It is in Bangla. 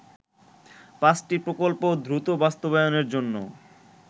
পাঁচটি প্রকল্প দ্রুত বাস্তবায়নের জন্য